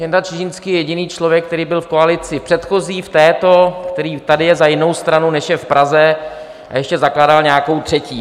Jenda Čižinský je jediný člověk, který byl v koalici předchozí, v této, který tady je za jinou stranu než je v Praze a ještě zakládal nějakou třetí.